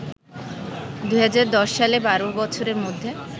২০১০ সালে ১২ বছরের মধ্যে